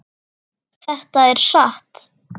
Þetta er satt.